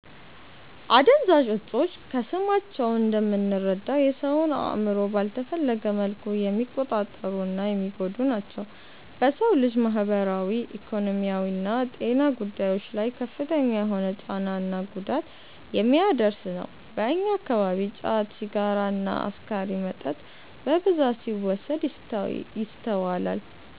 አደንዛዥ እፆች ከስማቸው እንደምንረዳው የ ሰውን አእምሮ ባልተፈለገ መልኩ የሚቆጣጠሩ እና የሚጎዱ ናቸው። በ ሰው ልጅ ማህበራዊ፣ ኢኮኖሚያዊና ጤና ጉዳዮች ላይ ከፍተኛ የሆነ ጫና እና ጉዳት የሚያደርስ ነው። በእኛ አከባቢ ጫት፣ ሲጋራ እና አስካሪ መጠጥ በብዛት ሲወሰድ ይስተዋላል።